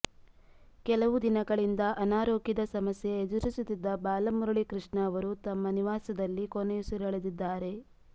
ಕೆಲವು ದಿನಗಳಿಂದ ಅನಾರೋಗ್ಯದ ಸಮಸ್ಯೆ ಎದುರಿಸುತ್ತಿದ್ದ ಬಾಲಮುರಳಿಕೃಷ್ಣ ಅವರು ತಮ್ಮ ನಿವಾಸದಲ್ಲಿ ಕೊನೆಯುಸಿರೆಳೆದಿದ್ದಾರೆ